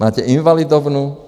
Máte Invalidovnu.